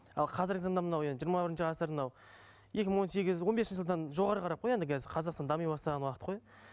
ал қазіргі таңда мынау енді жиырма бірінші ғасыр мынау екі мың он сегіз он бесінші жылдан жоғары қарап қой енді қазір қазақстан дами бастаған уақыт қой